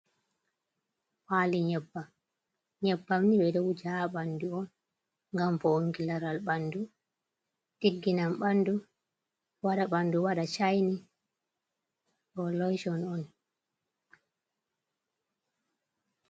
Paali nyebbam, nyebbamni ɓeɗowuje ha ɓandu on ngam fo ongi laral ɓandu ɗigginan ɓandu waɗa ɓandu waɗa shaini ɗo loshon on.